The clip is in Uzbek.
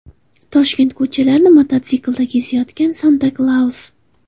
Toshkent ko‘chalarini mototsiklda kezayotgan Santa-Klaus .